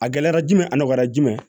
A gɛlɛyara jumɛn a nɔgɔyara jumɛn